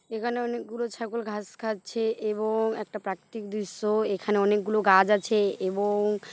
এখানে অনেক গুলো ছাগল ঘাস খাচ্ছে এবং একটা প্রাকৃতিক দৃশ্য। এখানে অনেকগুলো গাছ আছে এবং।